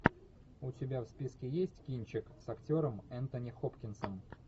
у тебя в списке есть кинчик с актером энтони хопкинсом